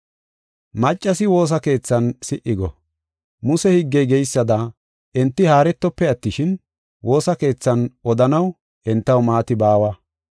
Maccasi woosa keethan si77i go. Muse higgey geysada enti haaretofe attishin, woosa keethan odanaw entaw maati baawa.